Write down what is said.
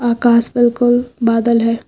आकाश में बिल्कुल बदल है।